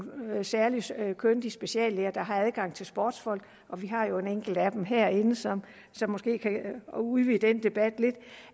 særlige kyndige speciallæger der har adgang til sportsfolk vi har jo en enkelt af dem herinde som måske kan udvide den debat lidt